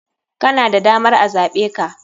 Kana da damar a zaɓeka.